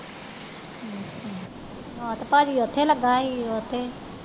ਹਾਂ ਤੇ ਪਾਜੀ ਉਥੇ ਲਗਾ ਹੀ ਉਥੇ